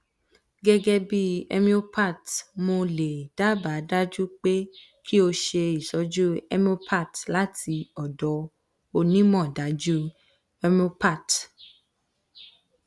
gegebi homeopath mo le daba daju pe ki o se itoju homeopath lati odo onimodaju homeopath